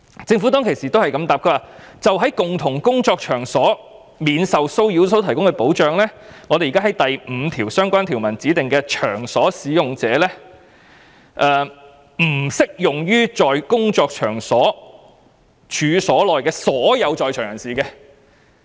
政府當時的回應是，就在共同工作場所免受騷擾所提供的保障，將會對第5部相關條文所指的"場所使用者"適用，但不適用於在工作場所處所內的所有在場人士。